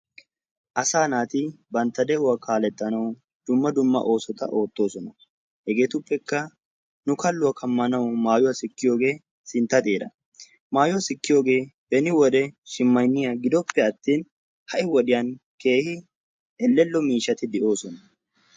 Asaa naati bantta de'uwa kaaletanawu dumma dumma oosota ootoosona. hegeetuppekka nu kaluwa kamanawu maayuwa sikkiyoge sinta xeera. beni wodiyan shimayniya ha'i wodiyan keehi elello miishshati de'oososna.